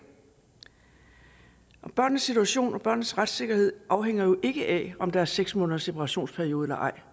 børnenes situation og børnenes retssikkerhed afhænger jo ikke af om der er seks måneders separationsperiode eller ej